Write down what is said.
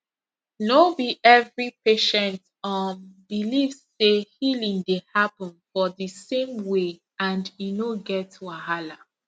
no be every patient um believe say healing dey happen for di same way and e no get wahala